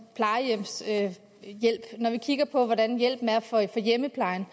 når vi kigger på hvordan hjælpen er fra hjemmeplejen